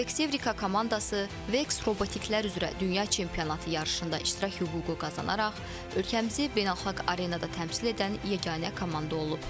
Vex Evrika komandası Vex robotiklər üzrə dünya çempionatı yarışında iştirak hüququ qazanaraq ölkəmizi beynəlxalq arenada təmsil edən yeganə komanda olub.